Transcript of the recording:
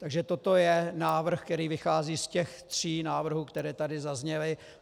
Takže toto je návrh, který vychází z těch tří návrhů, které tady zazněly.